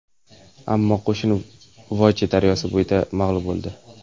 Ammo qo‘shin Voja daryosi bo‘yida mag‘lub bo‘ldi.